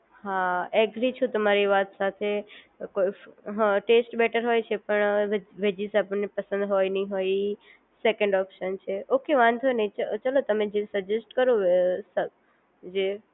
હા એગ્રી છું તમારી વાત સાથે ટેસ્ટ બેટર હોય છે પણ વેજીસ આપણને પસંદ હોય નય હોય સેકન્ડ ઓપ્શન છે ઓક વાંધો નહીં ચલો તમે સજેસ્ટ કરો જે